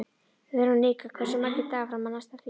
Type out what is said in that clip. Veronika, hversu margir dagar fram að næsta fríi?